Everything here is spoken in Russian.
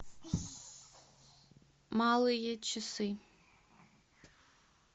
малые часы